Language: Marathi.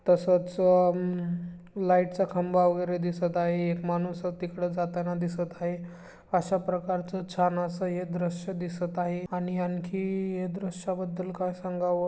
तसच अ लाईटचा खंबा वगैरे दिसत आहे एक माणूस तिकड जाताना दिसत आहे अशा प्रकारच छान अस हे दृश्य दिसत आहे आणि आणखी है दृश्याबद्दल काय सांगावं --